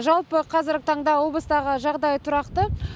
жалпы қазіргі таңда облыстағы жағдай тұрақты